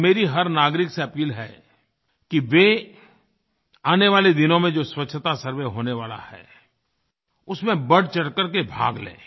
और मेरी हर नागरिक से अपील है कि वे आने वाले दिनों में जो स्वच्छतासर्वे होने वाला है उसमें बढ़चढ़ करके भाग लें